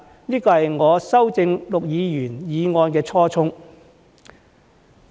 這是我修正陸議員的議案的初衷。